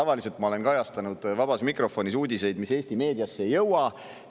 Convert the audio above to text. Üldiselt ma olen kajastanud vabas mikrofonis uudiseid, mis Eesti meediasse ei jõua.